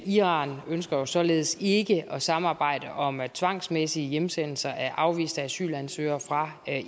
iran ønsker således ikke at samarbejde om tvangsmæssige hjemsendelser af afviste asylansøgere fra